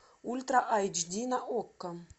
ультра айч ди на окко